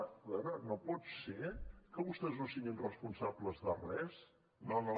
a veure no pot ser que vostès no siguin responsables de res no no